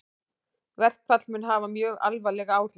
Verkfall mun hafa mjög alvarleg áhrif